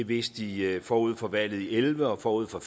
vidste de forud for valget i elleve og forud for